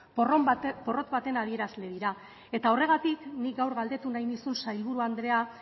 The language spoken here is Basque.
porrot baten adierazle dira eta horregatik nik gaur galdetu nahi nizun sailburu andrea